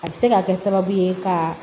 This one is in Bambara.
A bɛ se ka kɛ sababu ye ka